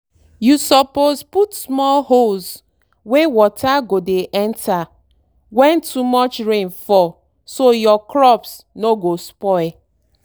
you supposed put small holes wey water go dey enter when too much rain fall so your crops no go spoil.